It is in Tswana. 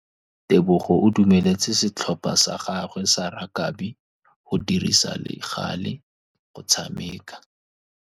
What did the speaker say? Tebogô o dumeletse setlhopha sa gagwe sa rakabi go dirisa le galê go tshameka.